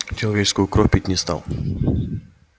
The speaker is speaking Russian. человеческую кровь пить не стал